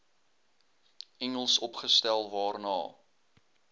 engels opgestel waarna